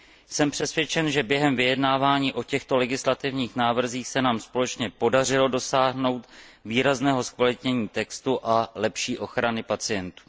Jsem přesvědčen, že během vyjednávání o těchto legislativních návrzích se nám společně podařilo dosáhnout výrazného zkvalitnění textu a lepší ochrany pacientů.